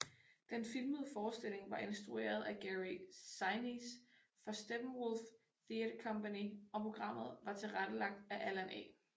Den filmede forestilling var instrueret af Gary Sinise for Steppenwolf Theatre Company og programmet var tilrettelagt af Allan A